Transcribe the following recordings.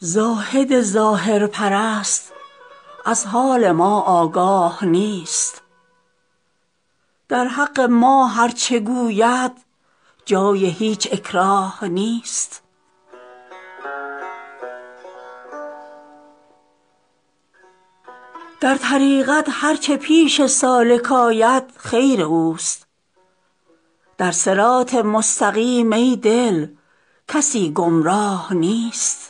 زاهد ظاهرپرست از حال ما آگاه نیست در حق ما هرچه گوید جای هیچ اکراه نیست در طریقت هرچه پیش سالک آید خیر اوست در صراط مستقیم ای دل کسی گمراه نیست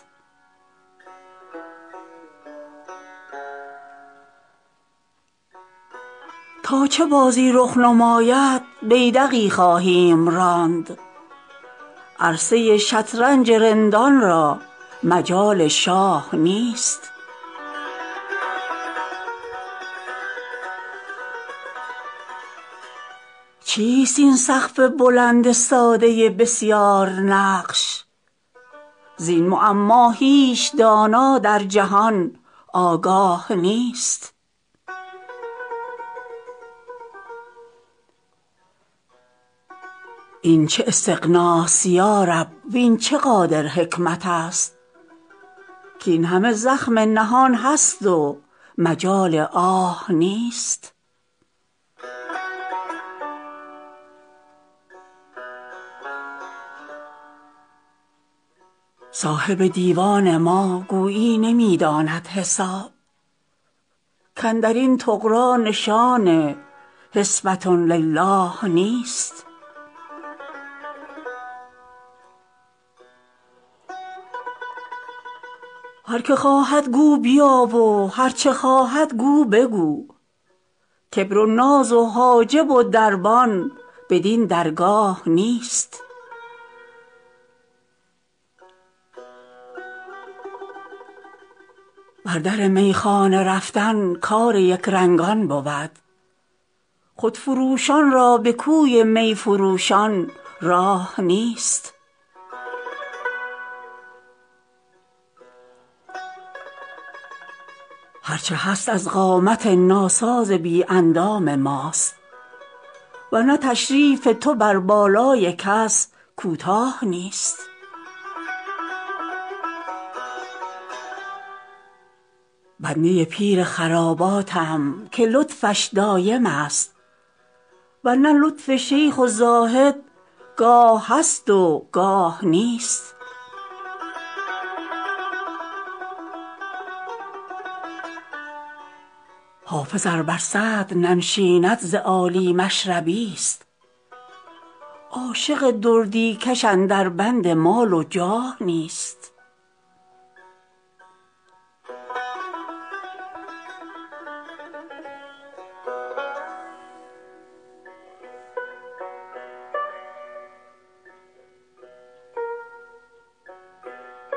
تا چه بازی رخ نماید بیدقی خواهیم راند عرصه ی شطرنج رندان را مجال شاه نیست چیست این سقف بلند ساده بسیارنقش زین معما هیچ دانا در جهان آگاه نیست این چه استغناست یا رب وین چه قادر حکمت است کاین همه زخم نهان است و مجال آه نیست صاحب دیوان ما گویی نمی داند حساب کاندر این طغرا نشان حسبة للٰه نیست هر که خواهد گو بیا و هرچه خواهد گو بگو کبر و ناز و حاجب و دربان بدین درگاه نیست بر در میخانه رفتن کار یکرنگان بود خودفروشان را به کوی می فروشان راه نیست هرچه هست از قامت ناساز بی اندام ماست ور نه تشریف تو بر بالای کس کوتاه نیست بنده ی پیر خراباتم که لطفش دایم است ور نه لطف شیخ و زاهد گاه هست و گاه نیست حافظ ار بر صدر ننشیند ز عالی مشربی ست عاشق دردی کش اندر بند مال و جاه نیست